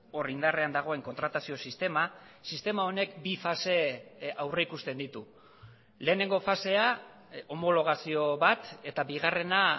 hor indarrean dagoen kontratazio sistema sistema honek bi fase aurrikusten ditu lehenengo fasea homologazio bat eta bigarrena